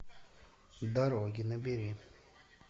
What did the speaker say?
дороги набери